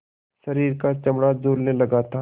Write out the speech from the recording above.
शरीर का चमड़ा झूलने लगा था